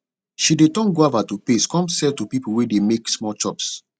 she de turn guava to paste come sell to people wey de make small chops